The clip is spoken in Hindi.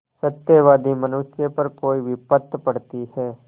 सत्यवादी मनुष्य पर कोई विपत्त पड़ती हैं